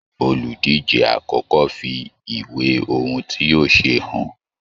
Oludije àkọ́kọ́ fi ìwé ohùn tí yóò ṣe hàn.